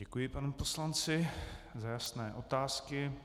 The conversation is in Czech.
Děkuji panu poslanci za jasné otázky.